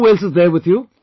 Who else is there with you